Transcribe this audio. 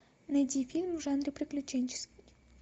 найди фильм в жанре приключенческий